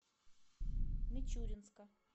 мичуринска